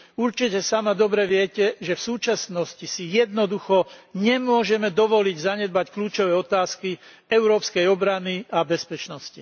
Určite sama dobre viete, že v súčasnosti si jednoducho nemôžeme dovoliť zanedbať kľúčové otázky európskej obrany a bezpečnosti.